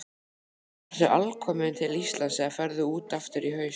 Ertu alkominn til Íslands eða ferðu út aftur í haust?